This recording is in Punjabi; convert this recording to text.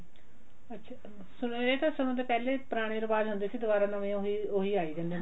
ਅੱਛਾ ਚਲੋ ਇਹ ਤਾਂ ਚਲੋ ਪਹਿਲੇ ਪੁਰਾਣੇ ਰਿਵਾਜ਼ ਹੁੰਦੇ ਸੀ ਦੁਬਾਰਾ ਉਹੀ ਨਵੇਂ ਆਈ ਜਾਂਦੇ ਆ